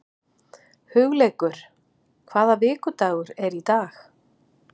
Hugleikur, hvaða vikudagur er í dag?